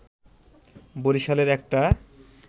বরিশালের একটা